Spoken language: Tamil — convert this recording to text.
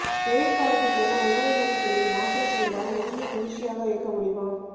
வெயில் காலத்துக்கென உணவுமுறைகளில் மாற்றம் செய்தால் உடலை குளிர்ச்சியாக வைக்க முடியுமா